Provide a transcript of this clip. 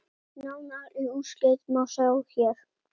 Nánari úrslit má sjá hér.